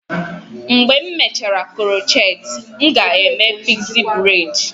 Mgbe m mechara crochet, m ga-eme pixie braid.